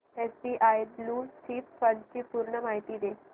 SBI blue chip fund ची पूर्ण माहिती दे